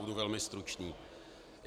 Budu velmi stručný.